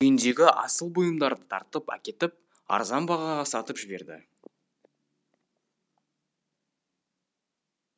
үйіндегі асыл бұйымдарды тартып әкетіп арзан бағаға сатып жіберді